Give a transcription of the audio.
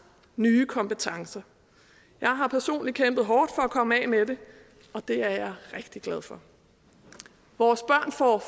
nye kompetencer jeg har personligt kæmpet hårdt for at komme af med det og det er jeg rigtig glad for vores børn får